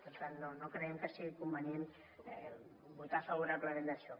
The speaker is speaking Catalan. per tant no creiem que sigui convenient votar favorablement això